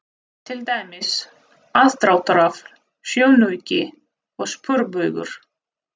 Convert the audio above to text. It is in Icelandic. Til dæmis: aðdráttarafl, sjónauki og sporbaugur.